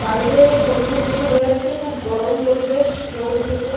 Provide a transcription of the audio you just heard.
বাইরের পরিবেশ দেখে বোঝা যাচ্ছে খুব গরম পরিৰেশ রোদ উঠেছে।